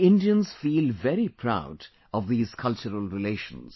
We Indians feel very proud of these cultural relations